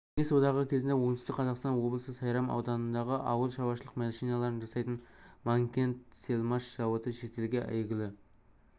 кеңес одағы кезінде оңтүстік қазақстан облысы сайрам ауданындағы ауыл шаруашылық машиналарын жасайтын манкентсельмаш зауыты шетелге әйгілі